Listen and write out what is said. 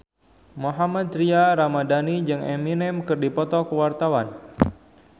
Mohammad Tria Ramadhani jeung Eminem keur dipoto ku wartawan